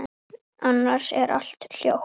Annars er allt hljótt.